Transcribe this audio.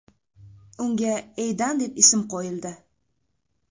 Unga Eydan deb ism qo‘yildi.